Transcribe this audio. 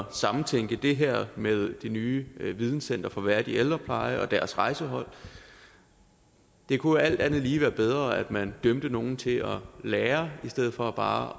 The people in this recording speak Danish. at samtænke det her med det nye videncenter for værdig ældrepleje og deres rejsehold det kunne alt andet lige være bedre at man dømte nogle til at lære i stedet for bare